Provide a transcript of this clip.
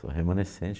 Sou remanescente.